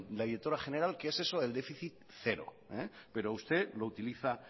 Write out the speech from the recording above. la directora general qué es eso del déficit cero pero usted lo utiliza